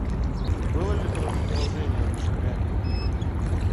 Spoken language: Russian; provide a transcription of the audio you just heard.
было ли продолжение у мишек гамми